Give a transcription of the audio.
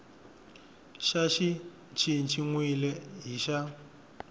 xa xi cinciwile hi xa